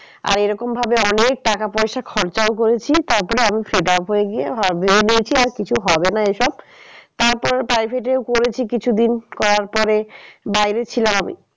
আর এরকম ভাবে অনেক টাকা পয়সা খরচাও করেছি তারপরে আমি setup হয়ে গিয়ে ভেবে নিয়েছি আর কিছু হবে না এইসব। তারপর private এও করেছি কিছু দিন করার পরে বাইরে ছিলাম আমি